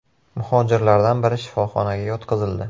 Muhojirlardan biri shifoxonaga yotqizildi.